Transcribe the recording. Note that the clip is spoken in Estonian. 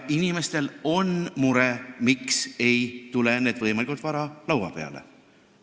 Inimestel on mure, miks ei tule need asjad võimalikult vara laua peale.